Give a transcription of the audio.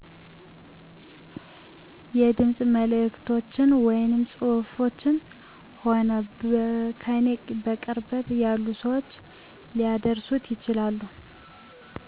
የድምፅ መልዕክቶች ወይም ፅሁፍች ሆነዉ ከኔ በቅርበት ያሉ ሰዎች ሊያደርሱት ይችላሉ